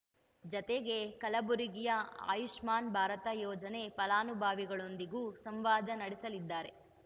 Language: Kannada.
ಜತೆಗೆ ಕಲಬುರಗಿಯ ಆಯುಷ್ಮಾನ್‌ ಭಾರತ ಯೋಜನೆ ಫಲಾನುಭವಿಗಳೊಂದಿಗೂ ಸಂವಾದ ನಡೆಸಲಿದ್ದಾರೆ